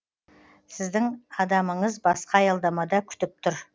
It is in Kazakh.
сіздің адамыңыз басқа аялдамада күтіп тұр